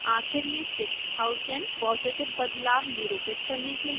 आखिर में 6000 positive बदलाव निरूपित करने के लिए